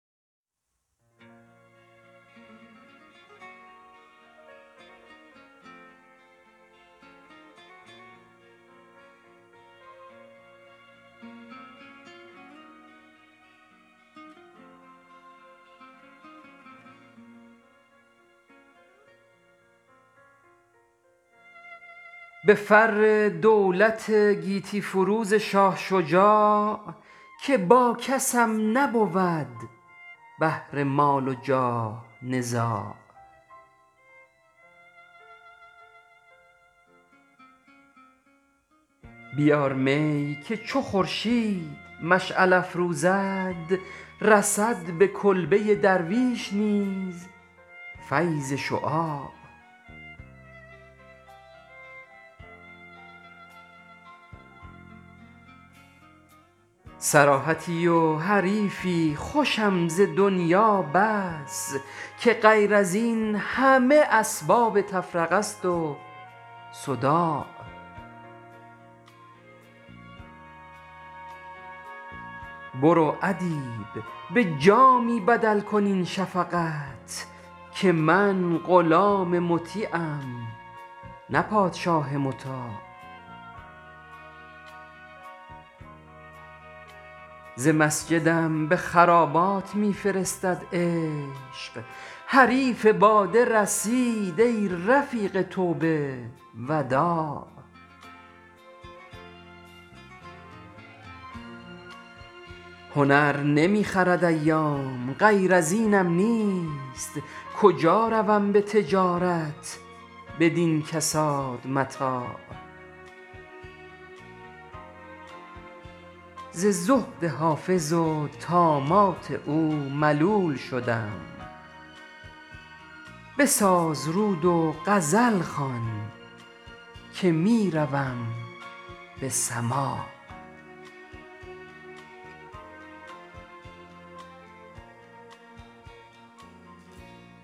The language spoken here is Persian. به فر دولت گیتی فروز شاه شجاع که با کسم نبود بهر مال و جاه نزاع بیار می که چه خورشید مشغل افروزد رسد به کلبه درویش نیز فیض شعاع صراحتی و حریفی خوشم زدنیا بس که غیر از این همه اسباب تفرقست و صداع برو ادیب به جامی بدل کن این شفقت که من غلام مطیعم نه پادشاه مطاع ز مسجدم به خرابات می فرستد عشق حریف باده رسید ای رفیق توبه وداع هنر نمی خرد ایام غیر از اینم نیست کجا روم به تجارت بدین کساد متاع ز زهد حافظ و طامات او ملول شدم بساز رود و غزل خوان که می روم به سماع